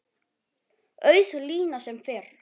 Auð lína sem fyrr.